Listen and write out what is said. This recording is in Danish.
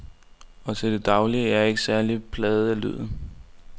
Og til daglig er jeg ikke særlig plaget af lyden.